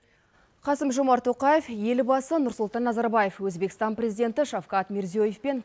қасым жомарт тоқаев елбасы нұрсұлтан назарбаев өзбекстан президенті шавкат мирзиёевпен